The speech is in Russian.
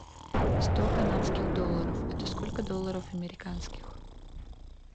сто канадских долларов это сколько долларов американских